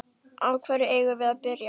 Á hverju eigum við að byrja?